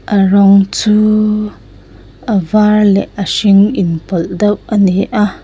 a rawng chu a var leh a hring inpawlh deuh a ni a--